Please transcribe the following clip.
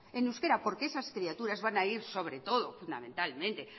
en euskera porque esas criaturas van a ir sobre todo fundamentalmente